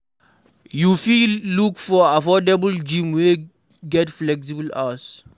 You fit look for affordable gym wey get flexible hours